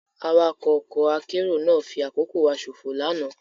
Awakọ ọkọ akero náa fi akoko wa sofo lana